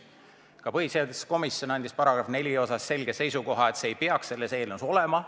Ka põhiseaduskomisjon andis § 4 kohta selge seisukoha, öeldes, et see ei peaks selles eelnõus olema.